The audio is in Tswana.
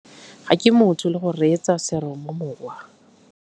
Ga ke motho le go reetsa seromamowa.